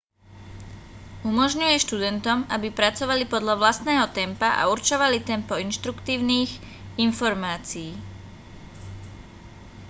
umožňuje študentom aby pracovali podľa vlastného tempa a určovali tempo inštruktívnych informácií